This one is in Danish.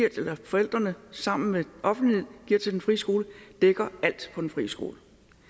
vi forældrene sammen med offentligheden giver til den frie skole dækker alt på den frie skole